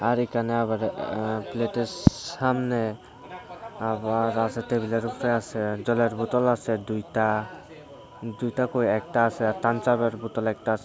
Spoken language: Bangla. আর একানে আবার আঃ প্লেটের সামনে আবার আসে টেবিলের উপরে আসে জলের বোতল আসে দুইটা দুইটা কই একটা আসে আর তান চাপের বোতল একটা আসে।